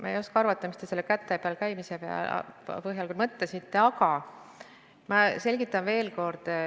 Ma ei oska arvata, mida te selle käte peal käimise all mõtlesite, aga ma selgitan veel kord.